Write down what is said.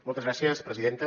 moltes gràcies presidenta